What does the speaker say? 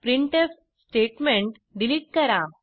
printf statement delete करा